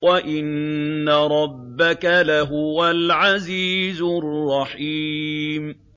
وَإِنَّ رَبَّكَ لَهُوَ الْعَزِيزُ الرَّحِيمُ